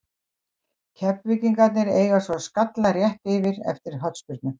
Keflvíkingarnir eiga svo skalla rétt yfir eftir hornspyrnu.